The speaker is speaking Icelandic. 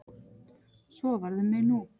Svo varð um mig nú.